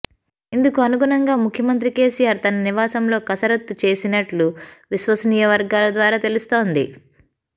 ఇందుకు అనుగుణంగా ముఖ్యమంత్రి కేసీఆర్ తన నివాసంలో కసరత్తు చేసినట్లు విశ్వసనీయ వర్గాల ద్వారా తెలుస్తోంది